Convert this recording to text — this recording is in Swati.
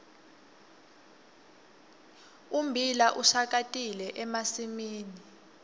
ummbila ushakatile emasimini